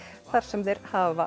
þar sem þeir hafa